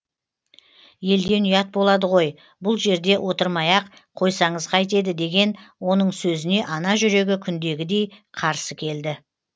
елден ұят болады ғой бұл жерде отырмай ақ қойсаңыз кайтеді деген оның сөзіне ана жүрегі күндегідей қарсы келді